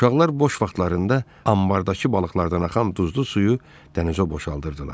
Uşaqlar boş vaxtlarında anbarda balıqlardan axan duzlu suyu dənizə boşaldırdılar.